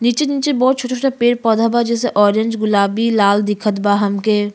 नीचे नीचे बहोत छोटा-छोटा पेड़ पौधा बा। जैसे ऑरेंज गुलाबी लाल दिखत बा हमके।